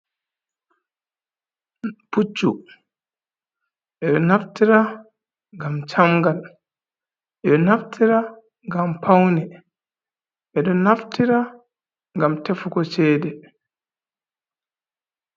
Puccu, ɓe ɗo naftira ngam camngal, ɓe ɗo naftira ngam pawne, ɓe ɗo naftira ngam tefugo ceede.